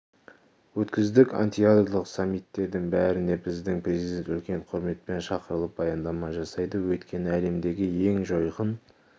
өткіздік антиядролық саммиттердің бәріне біздің президент үлкен құрметпен шақырылып баяндама жасайды өйткені әлемдегі ең жойқын